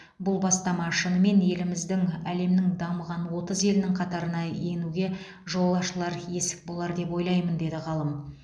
бұл бастама шынымен еліміздің әлемнің дамыған отыз елінің қатарына енуге жол ашылар есік болар деп ойлаймын деді ғалым